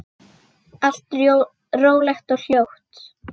Allt rólegt og hljótt.